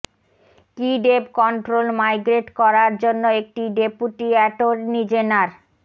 কি ডেব control migrate করার জন্য একটি ডেপুটি অ্যাটর্নি জেনার